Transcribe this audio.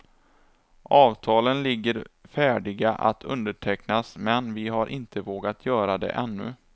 Avtalen ligger färdiga att undertecknas men vi har inte vågat göra det ännu.